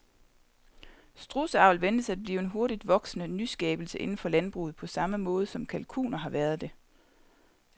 Strudseavl ventes at blive en hurtigt voksende nyskabelse inden for landbruget på samme måde som kalkuner har været det.